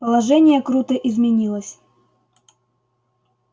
положение круто изменилось